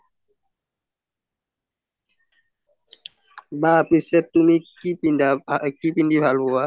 বা পিচে তুমি কি পিন্ধা কি পিন্ধি ভাল পুৱা